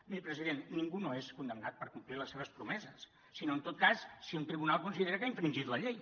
miri president ningú no és condemnat per complir les seves promeses sinó en tot cas si un tribunal considera que ha infringit la llei